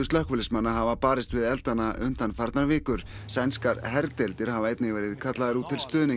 slökkviliðsmanna hafa barist við eldana undanfarnar vikur sænskar herdeildir hafa einnig verið kallaðar út